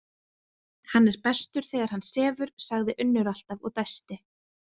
Hann er bestur þegar hann sefur, sagði Unnur alltaf og dæsti.